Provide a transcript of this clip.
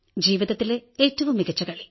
ജീവിതത്തിലെ ഏറ്റവും മികച്ച കളി